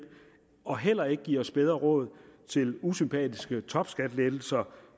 og heller ikke give os bedre råd til usympatiske topskattelettelser